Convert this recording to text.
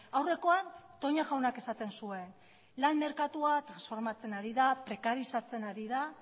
aurrekoan toña jaunak esaten zuen lan merkatua transformatzen ari da prekarizatzen ari da